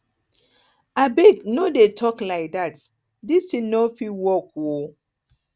abeg no dey talk like dat dis thing no fit work oo